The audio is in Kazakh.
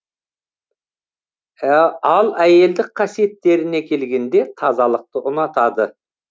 ал әйелдік қасиеттеріне келгенде тазалықты ұнатады